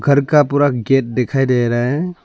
घर का पूरा गेट दिखाई दे रहा है।